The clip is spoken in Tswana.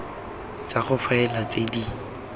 tsa go faela tse di